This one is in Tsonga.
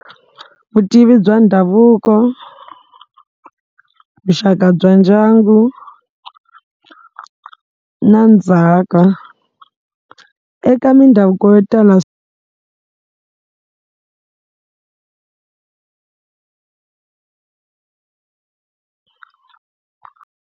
Vutivi bya ndhavuko, vuxaka bya ndyangu na ndzhaka eka mindhavuko yo tala.